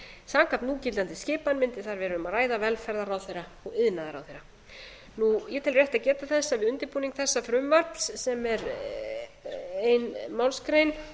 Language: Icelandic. samkvæmt núgildandi skipan mundi þar vera um að ræða velferðarráðherra og iðnaðarráðherra ég tel rétt að geta þess að við undirbúning þessa frumvarps sem er ein málsgrein